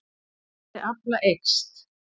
Verðmæti afla eykst